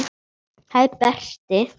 Það er Berti.